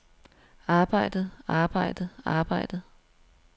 arbejdet arbejdet arbejdet